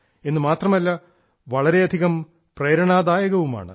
എന്നുമാത്രമല്ല വളരെയധികം പ്രേരണാദായകവുമാണ്